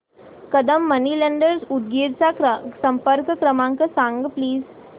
Kadam money lenders Udgir चा संपर्क क्रमांक सांग प्लीज